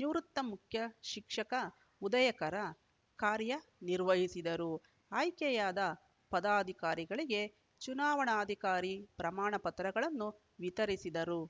ನಿವೃತ್ತ ಮುಖ್ಯಶಿಕ್ಷಕ ಉದಯಕರ ಕಾರ್ಯನಿರ್ವಹಿಸಿದರು ಆಯ್ಕೆಯಾದ ಪದಾಧಿಕಾರಿಗಳಿಗೆ ಚುನಾವಣಾಧಿಕಾರಿ ಪ್ರಮಾಣ ಪತ್ರಗಳನ್ನು ವಿತರಿಸಿದರು